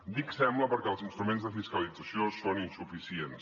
dic sembla perquè els instruments de fiscalització són insuficients